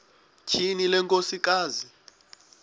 tyhini le nkosikazi